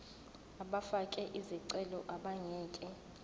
abafake izicelo abangeke